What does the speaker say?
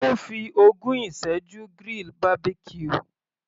Ó fi ogún ìsẹ́jú grill Barbecue.